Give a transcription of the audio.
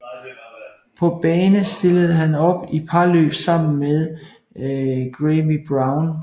På bane stillede han op i parløb sammen med Graeme Brown